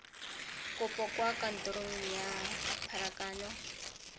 kopo kwa kantorong ya pharakano